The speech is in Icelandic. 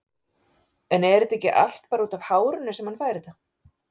En er þetta ekki allt bara útaf hárinu sem hann fær þetta?